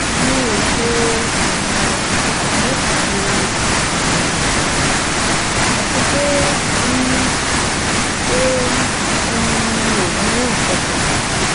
emi o se um akiyesi si aami aisan ati pe um pe um mi mu nkankan